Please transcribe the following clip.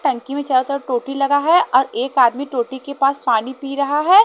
टंकी में चार चार टोटी लगा है और एक आदमी टोटी के पास पानी पी रहा है।